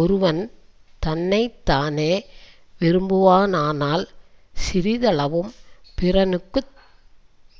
ஒருவன் தன்னை தானே விரும்புவானானால் சிறிதளவும் பிறனுக்கு